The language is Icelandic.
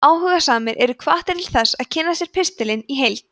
áhugasamir eru hvattir til þess að kynna sér pistilinn í heild